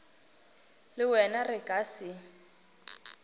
le wena re ka se